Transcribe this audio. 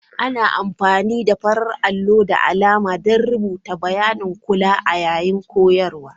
Ana amfani da farar allo da alama don rubuta bayanin kula yayin koyarwa.